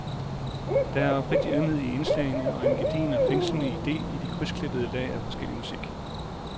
Der er oprigtig ømhed i indslagene og en gedigen og fængslende ide i de krydsklippede lag af forskellig musik.